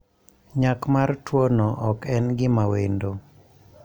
Nyak mar tuwono ok en gima wendo.